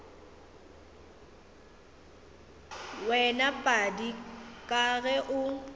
wena padi ka ge o